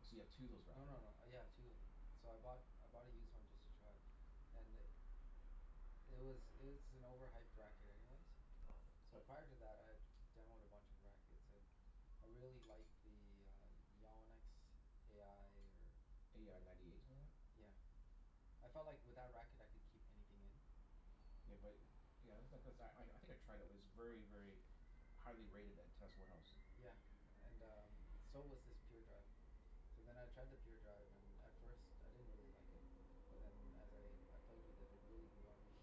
Oh, so you have two of those No rackets no no. now? Yeah, I have two of them. So I bought, I bought a used one just to try. And i- it was it was an overhyped racket anyways. So Uh prior to that I had demoed a bunch of rackets and I really liked the uh Yannick's a i or A i ninety eight, something like that? Yeah. I felt like with that racket I could keep anything in. Yeah but, yeah that's not, cuz I I think I tried it. It was very, very highly rated at test warehouse. Yeah, and um so was this Pure Drive. So then I tried the Pure Drive and at first, I didn't really like it. But then as I I played with it, it really grew on me.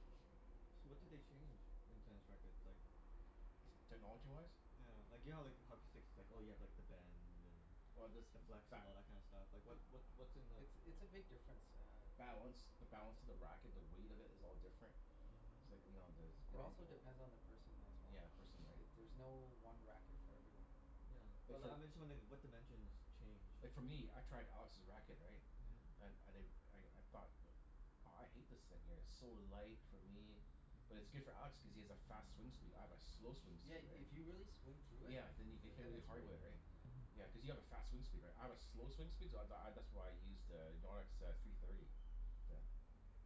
So, what do they Uh change in tennis rackets? Like technology-wise? Yeah. Like, you know like how hockey sticks it's like, oh you have like the bend and Oh this, the flex, and ba- all that kind of stuff? Like what what what's in the It's it's a big difference, uh Balance. The Yeah. balance of the racket. The weight of it is all different. Mhm. It's like, you know, there's Yeah. It grommet also hole depends on the person as well. Yeah, the person, right? It, there's no one racket for everyone. Yeah, but Like, li- for I'm just wondering what dimensions change? Like for me, I tried Alex's racket, right? Yeah. Mhm. And I di- I I thought that aw I hate this thing here. It's so light for me. But it's Mhm. good for Alex cuz he has a fast swing speed. I have a slow swing Yeah, speed, right? if you really swing through it Yeah, then you can hit then really it's hard great. with it, right? Yeah. Yeah, Mhm. Mm. cuz you have a fast swing speed, right? I have a slow swing speed so th- I that's why I use to Yannick's uh three thirty. The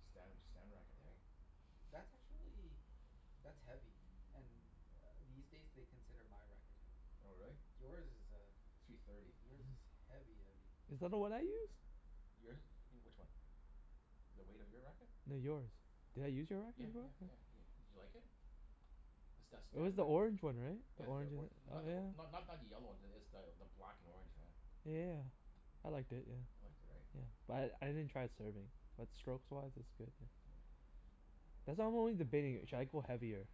Stan Stan racket, Yeah. right? That's actually that's heavy. And uh these days they consider my racket heavy. Oh, But really? yours is uh, Three thirty. yours is heavy heavy. Is that the one I use? Yours is e- which one? The weight of your racket? No, yours. Did I use your Yeah racket before? yeah Huh. yeah yeah. Did you like it? The St- It was Stan the rack- orange one, right? The Yeah the orange or- and, oh not the or- yeah. not not the yellow one. It's the the black and orange, yeah. Yeah yeah yeah. I liked it, yeah. You liked it, right? Yeah. But I I didn't try it serving. But strokes-wise it's good, yeah. Yeah. That's I'm only debating. Should I go heavier?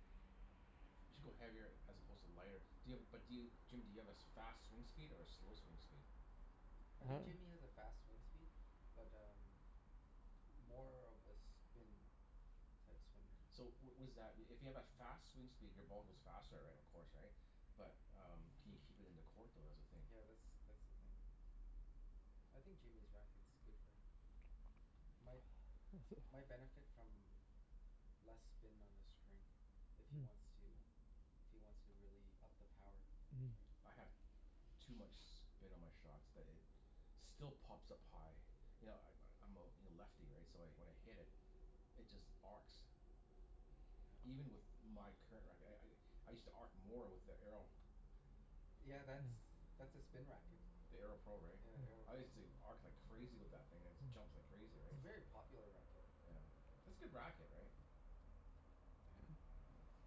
You should go heavier as opposed to lighter. Do you have a, but do you, Jim do you have as fast swing speed or a slow swing speed? I Huh? think Jimmy has a fast swing speed. But um more of a spin type swinger. So w- was that i- if you have a fast swing speed your ball goes faster, right, of course, right? But um can you keep it in the court though? That's the thing. Yeah, that's that's the thing. I think Jimmy's racket's good for him. My my benefit from less spin on the string. If he wants Hmm. to if he wants to really up the power, Mm. right? I have too much spin on my shots that it still pops up high. You know I- I'm I'm a l- lefty, right? So wh- when I hit it it just arcs. Yeah. Even with my current racket. I I I I used to arc more with the Arrow. Yeah, that's that's a spin racket. The Arrow Pro, right? Yeah, the Arrow I Pro. used to arc like crazy with that thing. It just jumps like crazy, It's right? a very popular racket. Yeah. It's good racket, right? Yeah.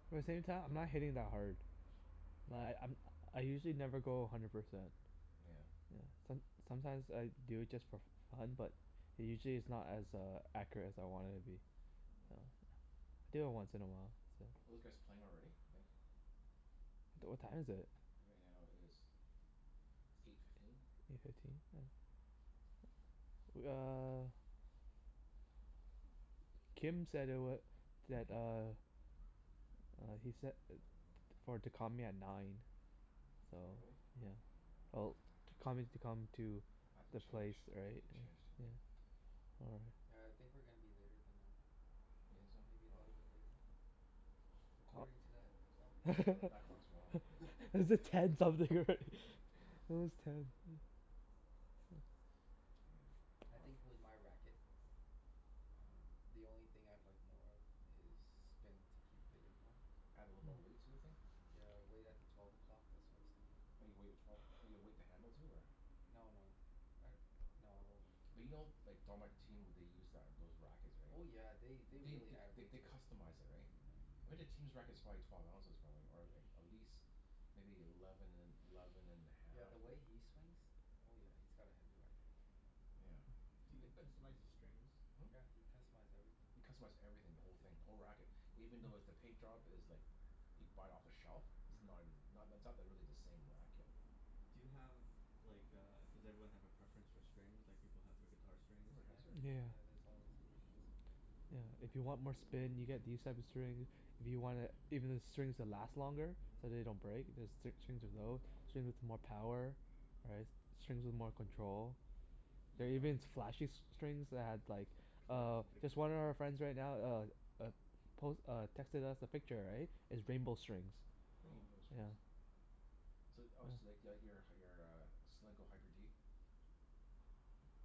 Yeah. But at the same time, I'm not hitting that hard. Yeah. Li- I'm I usually never go a hundred percent. Nyeah. Yeah. Som- sometimes I do it just for f- fun, but usually it's not as uh accurate as I want it to be. Mm. So, do it once in a while. So Are those guys playing already, you think? D- what time is it? Right now it is eight fifteen. Eight fifteen? Yeah. W- uh Kim said it wa- that uh uh he said i- t- for to call me at nine. So, Oh, really? yeah. Well to call me to come to I have to the place, change, I have to right? get Yeah. changed here, Yeah. right? All right. Yeah, I think we're gonna be later than nine. You think Maybe a so? Oh. little bit later? According to that clock. Well th- that clock's wrong. Is it ten something, right? It was ten. I Yeah, aw think I with my racket um the only thing I'd like more of is spin to keep it in more. Add a little more Mm. weight sort of thing? Yeah, weight at the twelve o'clock, that's what I was thinking. Oh, you weight at twelve oh, you weight the handle too, or No no. I, no, I won't weight the But you know handles. like what they use that those rackets, right? Oh yeah, they they They really th- add th- weight they to it. customize it, right? Yeah. I bet that team's racket's probably twelve ounces probably, or like at least maybe eleven and eleven and a Yeah, half, the or way he swings Oh yeah, he's got a heavy racket. Yeah. Do I- uh you but customize the strings? Hmm? Yeah, you can customize everything. You customize everything. The whole thing. The whole racket. Even though with the paint job is like Yeah. you buy it off the shelf. It's uh-huh. not as, not that's not really the same racket. Do you have like a, does everyone have a preference for strings like people have for guitar strings? Everybody Yeah. has their Yeah. Yeah, there's always a preference. Yeah. If you want more spin you get these type of string If you want it, even the strings that last longer. Mhm. So they don't break. There's s- strings of tho- Strings with more power. Right? S- strings with more control. You There are oh even s- flashy s- strings that have like Colors uh, and just pictures one and of our stuff? friends right now uh uh, pos- uh, texted us a picture, right? Is rainbow strings. Oh. Rainbow Yeah. strings. So oh so you like the out your uh your uh Solinco Hyper G?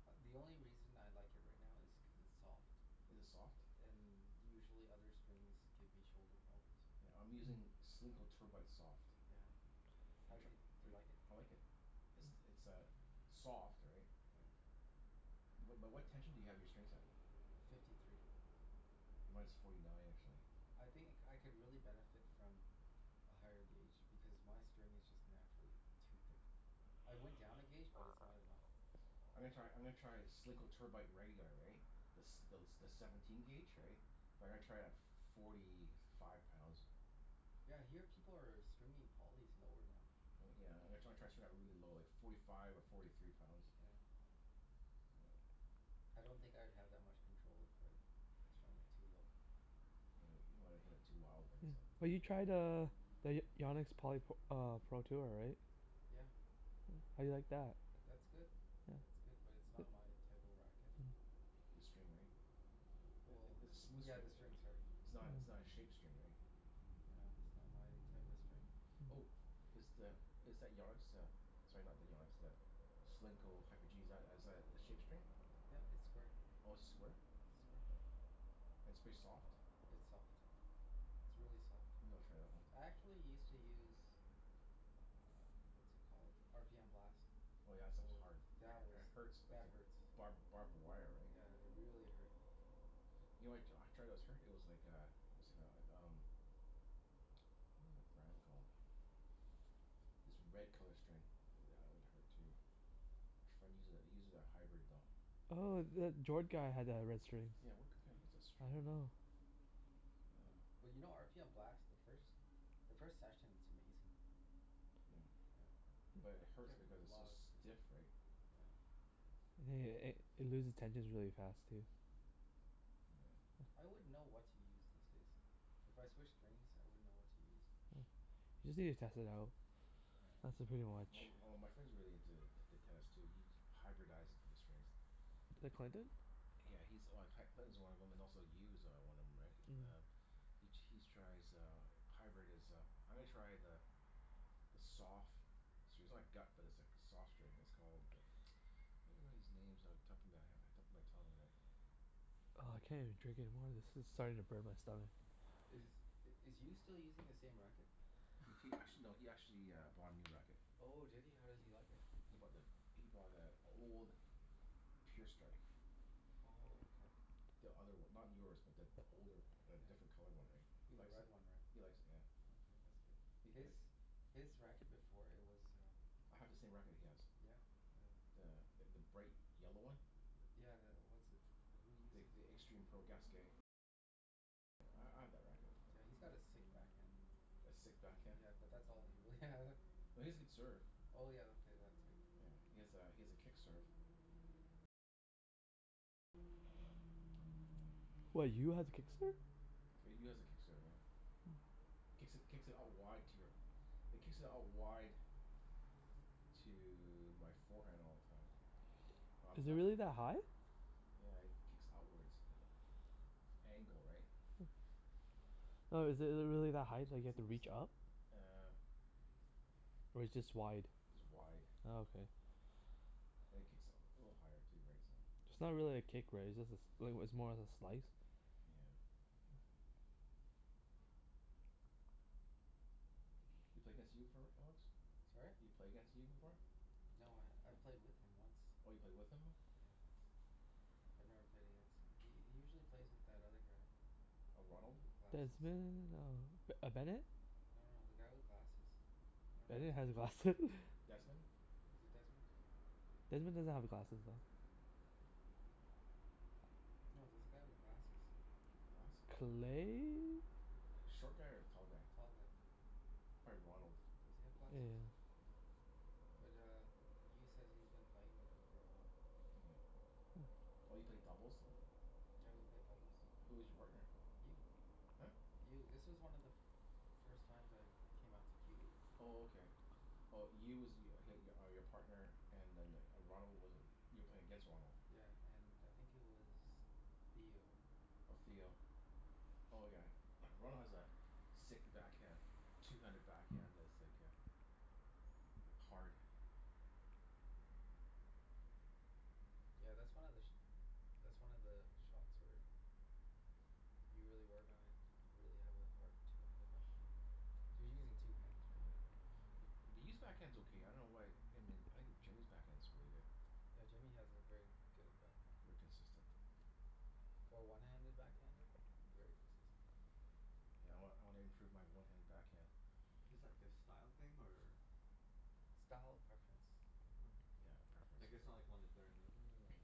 A- the only reason I like it right now is cuz it's soft. Is it soft? And usually other strings give me shoulder problems. Yeah, I'm using Solinco Tour Bite soft. Yeah. How Have di- you tri- do you Are y- like it? I like it. It's it's a soft, right? Yeah. But but what tension do you have your strings at? Uh, fifty three. Mine's forty nine, actually. I think I c- could really benefit from a higher gauge, because my string is just naturally too thick. I went down a gauge but it's not enough. I'm gonna try, I'm gonna try Solinco Tour Bite regular, right? The s- thel- the seventeen gauge, Yeah. right? But I'm gonna try it at forty five pounds. Yeah, I hear people are stringing polys lower now. Oh yeah, I'm gonna try try to string that really low, like forty five or forty three pounds. Yeah. Mm. I don't think I'd have that much control if I strung it too low. Yeah, you don't wanna hit it too wild, Yeah, right? So but Yeah. you tried uh the Y- Yannick's poly p- uh Pro Tour, right? Yeah. Yeah? How do you like that? That's good. Yeah. It's good. But it's not my type of racket. Mm. The string, right? W- Th- well i- it's a smooth yeah, string, the i- string's hard. it's not it's not Mm. a shaped string, right? Yeah, it's not my type of string. Mhm. Oh. Is the, is that Yannick's uh, sorry, not the Yannick's, the Solinco Hyper G, is that as a shape string? Yeah, it's square. Oh, it's square? Oh, Square. okay. It's pretty soft? It's soft. It's really soft. Maybe I'll try that one. I actually used to use uh, what's it called? R p m Blast. Oh yeah, that Oh stuff's well, hard. I- that was, it hurts, like that the hurts. barb- barbed wire, right? Yeah, they really hurt. You know what I t- try that was hurt? It was like a it was like a um what was that brand called? This red color string. That one hurt too. My friend uses it, he uses a hybrid, though. Oh, the Jord guy had the red strings. Yeah, what k- k- what was that I string don't called? know. But you know r p m Blast, the first the first session it's amazing. Yeah. Yeah. But it Get hurts because re- a it's so lot of spin. stiff, right? Yeah. Yeah yeah yeah. It it loses tensions really fast, too. Yeah. I wouldn't know what to use these days. If I switched strings, I wouldn't know what to use. Yeah. You just need to test it out. Yeah. That's the pretty Well much m- m- my friend's really into t- tennis too. He hyberdized the strings. The Clinton? Yeah, he's like C- Clinton's one of them, and also Yu is uh one of them, right? Mm. Um He he's tries uh hybrid is uh, I'm gonna try the the sof- gut but it's like soft string. It's called I can't remember these names off the top of my he- top of my tongue whadat- Oh, I can't even drink anymore of this. This is starting to burn my stomach. Is Yeah. is Yu still using the same racket? He t- act- no, he actually bought a new racket. Oh, did he? How does he like it? He he he bought the, he bought the old Pure Strike. Oh, okay. The other one. Not yours but th- the older, the Yeah. different colored one, right? He The likes red it. one, right? He likes it, yeah. Oh, yeah, that's good. He His like his racket before, it was um I have the same racket he has. Yeah, uh The th- the bright yellow one. Yeah, the, what's, who uses it again? Yeah, he's got a sick backhand. A sick backhand? Yeah, but that's all he really has. No, he has a good serve. Oh yeah, okay, that too. Yeah. He has a he has a kick serve. What, Yu has a kick serve? Yu has a kick serve, yeah. Mm. Kicks it kicks it out wide to your It kicks out wide to my forehand all the time. I'm Is it left really that left ha- high? Yeah, he kicks outwards angle, right? Hmm. No, is it it really that high, like you have to reach up? Uh Or it's just wide? Just wide. Oh, okay. And it kicks u- a little higher too, right? So It's not really a kick, right? It's just a sl- like, it was more of a slice. Yeah. You play against Yu before, right Alex? Sorry? You play against Yu before? No, I've played with him once. Oh, you played with him? Yeah, once. I've never played against him. He he usually plays with that other guy. A Ronald? W- with glasses. Desmond? Oh, B- uh Bennett? No no, the guy with glasses. I don't know Ben- Bennett his name. has glasse- Desmond? Is it Desmond? Desmond doesn't have glasses though. No, there's a guy with glasses. Glasses? Clay? Short guy or the tall guy? Tall guy. Probably Ronald. Does he have Yeah yeah glasses? yeah. Yeah. Mm. But uh Yu says he's been playing with him for a while. Yeah. Oh, you played doubles w- Yeah, we played doubles. Who was your partner? Yu. Huh? Yu. This was one of the f- first times I came out to q e. Oh, okay. Mm. Oh, Yu was y- h- are your partner and then the Ronald was you were playing against Ronald? Yeah, and I think he was Theo. Oh, Theo. Yeah. Oh yeah. Ronald has a sick backhand. two-handed backhand that's like a like hard. Yeah, that's one of the sh- that's one of the shots where you really work on it you could really have a hard two-handed backhand. You're using two hands, right? Yeah. B- but Yu's backhand's okay. I dunno why I mean I think Jimmy's backhand's really good. Yeah, Jimmy has a very good backhand. Very consistent. For a one-handed backhander? Very consistent. Yeah, I wan- I wanna improve my one-handed backhand. Is that like a style thing or Style preference. Preference. Yeah. Yeah, preference, Like, yeah. it's not like one is better than the other or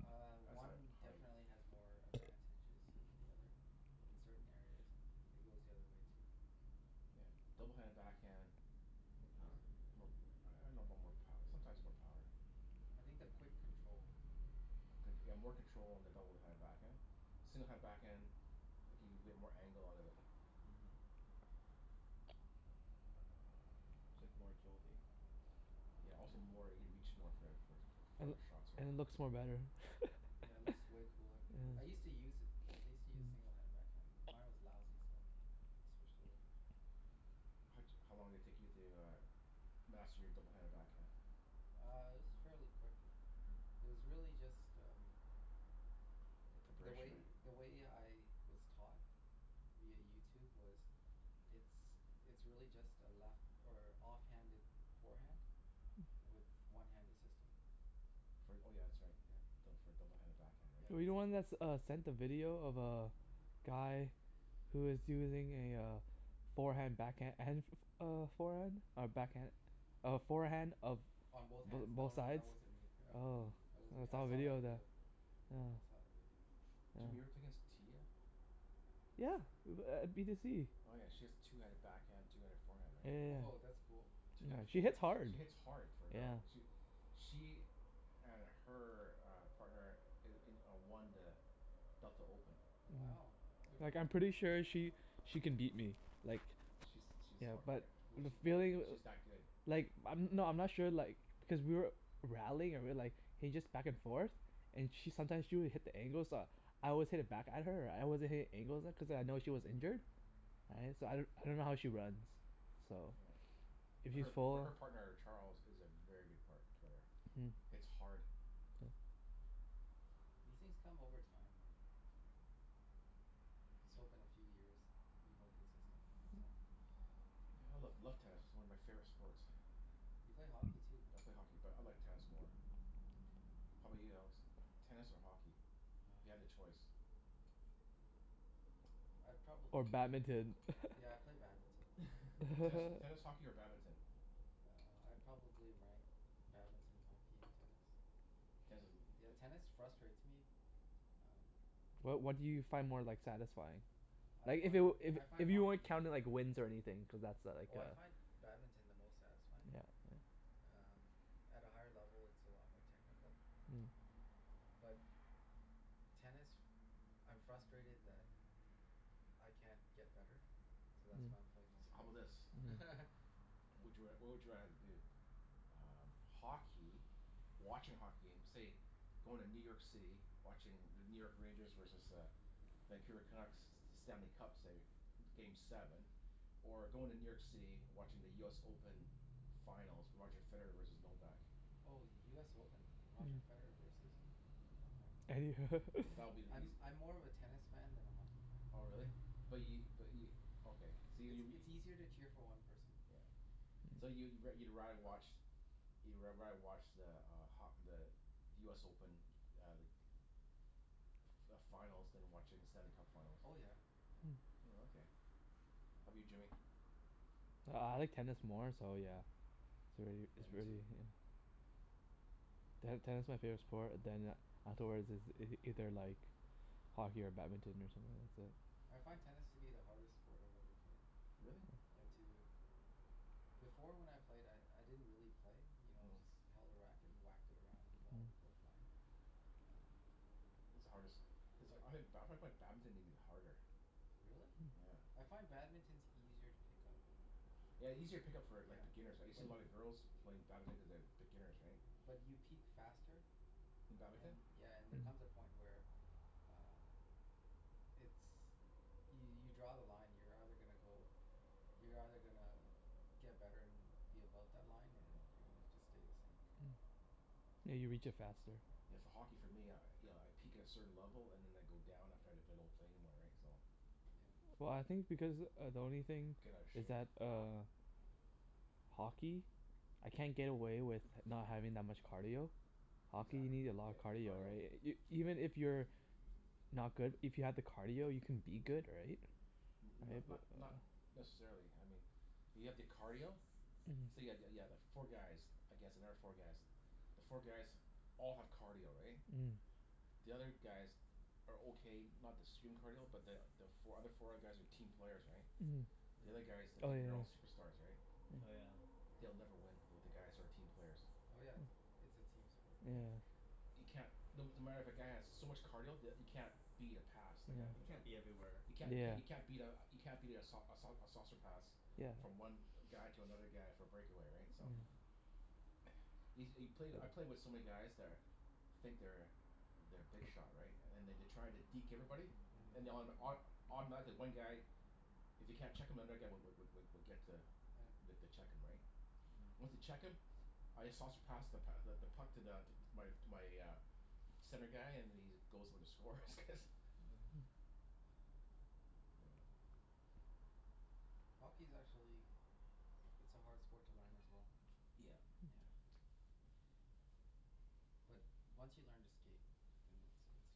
Uh, That's how I one how I definitely has more advantages than the other. In certain areas. And it goes the other way too. Yeah. Mm. double-handed backhand More is power? more I dunno about more pow- sometimes more power. I think the quick control. Con- yeah, more control on the double-handed Yeah. backhand. single-handed backhand, like you can get more angle out of it. Mhm. It's like more agility. Yeah, also more, you can reach more for for f- And farther shots, i- right? it looks more better. Yeah, it looks way cooler. Yeah. I used to use it. I used to use Mm. single-handed backhand, but mine was lousy, so I switched over. How d- how long did it take you to uh master your double-handed backhand? Uh, it was fairly quick. Mm. It was really just um the Preparation, way right? the way I was taught via YouTube was it's it's really just a left or off-handed forehand with one hand assisting. Fr- oh yeah, that's right. Yeah, Yeah. d- for a double-handed backhand, Yeah, right? Were you that's the it, one that s- that's what uh it is. sent the video of uh guy who is using a uh forehand backhand and f- f- uh forehand? Or backhand? A forehand of On both b- hands? No both no, sides? that wasn't me. Oh. Mm. That wasn't I me. I saw a saw that video of that. video. Yeah. I saw that video. Jimmy, you ever play Yeah. against Tia? Yeah, u- b- at b to c. Oh yeah, she has two-handed backhand, two-handed forehand, Yeah right? yeah Woah, that's cool. yeah. Yeah. two-handed She foreha- hits hard. she hits hard for a girl. Yeah. She w- she and her uh partner i- in a won the Delta Open. Wow, Yeah. good Mhm. for Like I'm them, hey? pretty sure she she could beat me, like She's she's yeah, har- yeah. but Was the she that feeling good? w- She's that good. Like, I'm, no I'm not sure like because we were rallying or we like he just back and forth. And she sometimes she would hit the angles uh I always hit it back at her Right? I wasn't hitting angles at cuz I know she was injured. Right? So I d- I don't know how she runs. So Yeah. if But she's her but full her partner Charles is a very good part- player. Mm. Hits hard. Yeah. These things come over time, right? Just hope in a few years be more consistent, that's all. Yeah, I love love tennis. It's one of my favorite sports. Yeah. You play hockey too, right? I play hockey but I like tennis more. How 'bout you, Alex? Tennis or hockey? If you Oh. had a choice. I'd Or probably play badminton? Yeah, I'd play badminton. Tennis Ten tennis, hockey, or badminton? Uh, I'd probably rank badminton, hockey, and tennis. Tennis is l- i- Yeah, i- tennis frustrates me. Um Wha- what do you find more like satisfying? I Like if it find, w- I if find if you weren't hockey counting like wins or anything, cuz that's a like Oh a I find badminton the most satisfying. Yeah. Um, at a higher level it's a lot more technical. Mm. But tennis, I'm frustrated that I can't get better, so that's why I'm playing more So how tennis. bout Mm. this? Mhm. What would you r- what would you rather do? Um, hockey watching hockey game, say going to New York City. Watching the New York Rangers versus the Vancouver Canucks, Stanley Cup, say, game seven. Or going to New York City, watching the US Open finals. Roger Federer versus Novak. Oh, US Open. Roger Federer versus Mm. Novak. That would be the eas- I'm I'm more of a tennis fan than a hockey fan. Oh really? But Yeah. y- but y- okay. So y- It's you w- it's easier to cheer for one person. Yeah. So you wo- you'd rather watch you'd r- rather watch the uh ho- the the US Open uh like f- f- finals than watching the Stanley Cup finals? Oh yeah, yeah. Mm. Mm. Oh, okay. How 'bout Yeah. you Jimmy? Uh I like tennis more so yeah It's really, Yeah. Yeah, it's me really, too. yeah Ten- tennis my favorite sport, then a- afterwards is ei- either like hockey or badminton or something. That's it. I find tennis to be the hardest sport I've ever played. Really? Yeah, to Before when I played I I didn't really play. You know, I Mm. just held a racket and whacked it around and the ball would Mm. go flying. Um It's the hardest is But I ha- ba- I find badminton even harder. Really? Hmm. Yeah. I find badminton's easier to pick up. Yeah, easier to pick up for like Yeah, beginners, right? You see but a lot of girls playing badminton cuz they have beginners, right? But you peak faster In badminton? and, yeah, and there comes a Mm. point where uh it's, y- you draw the line. You're either gonna go, you're either gonna get better and be above that line or Mhm. you're gonna just stay the same. Hmm. Yeah, you reach it faster. Yeah, Yeah. for hockey for me, I you know I peak at a certain level and then I go down after if I don't play anymore, right? So Yeah. Well, I think because uh the only thing Get outta is shape. that uh hockey? I can't get away with h- not having that much cardio. Hockey, Exac- you need a lot yeah, of in cardio, cardio. right? I- Y- even if you're not good, if you have the cardio you can be good, right? N- Right? not not But not necessarily, I mean if you have the cardio say Mhm. yeah yeah yeah the four guys against another four guys. The four guys all have cardio, right? Mm. The other guys are okay. Not the stream cardio but the the fo- other four guys are team players, right? The other guys, Mm. they Mm. Oh, think they're yeah all yeah. superstars, right? Oh yeah. Yeah. They'll never win with the guys who are team Mm. players. Oh yeah, it's a team sport Yeah. Mm. for sure. You can't No no matter if a guy has so Yeah. much cardio that you can't beat a pass. Like a You like Mhm. a can't be everywhere. You can't c- Yeah. you can't beat a you can't beat a sau- a sau- a saucer pass. Yeah. Yeah. Mm. From one guy to another guy for a breakaway, right? So Yeah. Yo- you play I play with so many guys that are think they're they're big shot right? And they d- try to deke everybody? And Mhm. they autom- auto- automatically one guy if they can't check him another guy w- w- w- would get to Yeah. the to check him, right? Once they Myeah. check him I just saucer pass the p- th- the puck to the to my to my uh center guy and then he just goes for the score cuz Yeah. Yeah. Hockey's actually it's a hard sport to learn as well. Yeah. Hmm. Yeah. But once you learn to skate then it's it's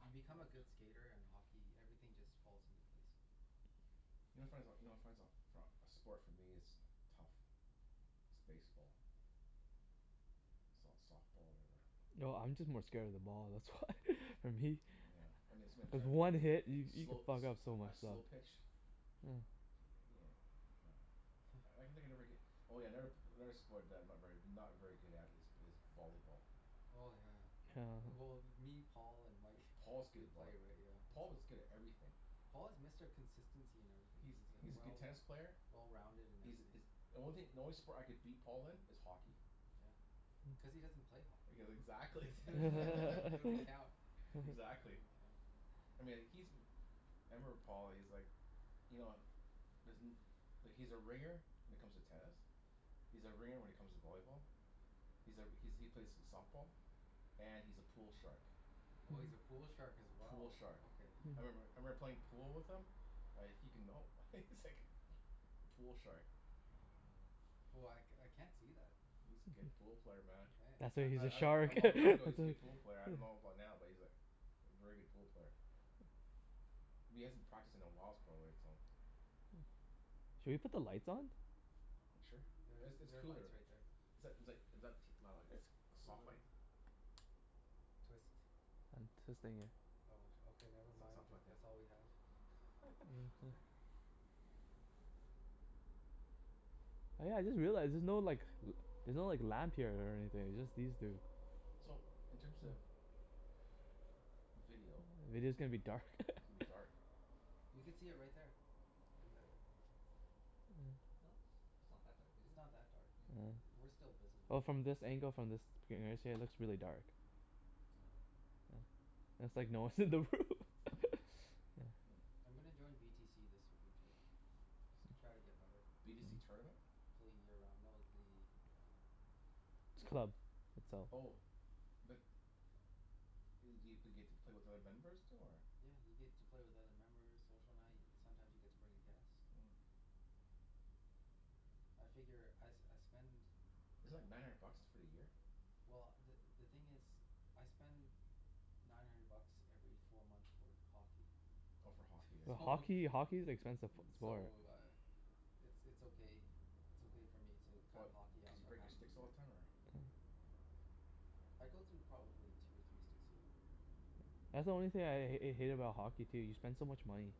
you become a Woah. good skater and hockey, everything just falls into place. You know what I find so, you know what I find so for a a sport for me is tough is baseball. S- softball, whatever. No, I'm just more scared of the ball, that's why. For me. Yeah, I mean someone's Cuz trying to one hit, y- you could slow a fuck up so sl- a much stuff. slow pitch Yeah. he uh yeah. Yeah. I can think I never get Oh yeah, never p- another sport that I'm not very not very good at is b- is volleyball. Oh, yeah. Yeah. Well me, Paul, and Mike. If Paul's good We at play, voll- right? Yeah, Paul so was good at everything. Paul is Mr. Consistency in everything. He's He's uh he's a good well tennis player. well-rounded in He's everything. is The only thing, the only sport I could beat Paul in is hockey. Yeah. Cuz he doesn't play hockey. Cuz exactly. Doesn't count. Exactly. Doesn't count. I mean, like he's m- I remember Paul. He's like you know doesn't like he's a ringer when it comes to tennis. He's a ringer when it comes to volleyball. He's a r- he's he plays softball. And he's a pool shark. Oh, he's a pool shark as Pool well? shark. Okay. I remember I Mhm. remember playing pool with him like he can, no, he's Mm. like pool shark. Oh, Hmm man. Oh, I c- I can't see that. He's a good hmm. pool player, man. Mkay. That's why I he's a I d- a shark. long That's time ago he's a why good pool player. I dunno about now but he's like a very good pool player. But he hasn't practiced in a whiles probably so Hmm. Should we put the lights on? Sure. There's It's it's there are lights cooler. right there. Is that is like is that t- wow like It's soft light? cooler. Twist. I'm twisting it. Oh, sh- okay, never It's it's mind, not if plugged in. that's all we have. It's Mhm. okay. Oh yeah, I just realized, there's no like l- there's no like lamp here or anything. Yeah. It's just these two. So, in terms Hmm. of video Video's gonna be Mhm. dark. it's gonna be dark. You could see it right there. In the Yeah. No, it's it's not that dark, is It's it? not that dark Yeah. Yeah. I- we're still Well, visible. from this angle, from this it looks really dark. Oh. Yeah. It's like no one's in the room. Yeah. Hmm. I'm gonna join v t c this winter though. Try to get better. B to c tournament? Play year round, no the uh the It's a club. club. It's all Oh. But i- do you get to play with other members too, or Yeah, you get to play with other members. Social night. Sometimes you get to bring a guest. Mm. I figure I s- I spend Is it like nine hundred bucks for a year? well, the the thing is I spend nine hundred bucks every four months for hockey. Oh, for hockey, For right? So hockey? Hockey's expensive f- sport. so uh it's it's okay, it's okay for me to cut What? hockey off Cuz you for break half your a sticks all year. the time or Oh. I go through probably two or three sticks a year. That's the only thing Mm. I h- hate about hockey, too. You spend so much money.